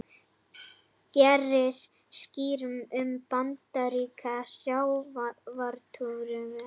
Gerir skýrslu um bandarískan sjávarútveg